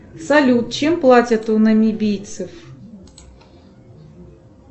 салют чем платят у намибийцев